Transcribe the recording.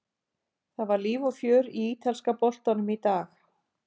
Það var líf og fjör í ítalska boltanum í dag.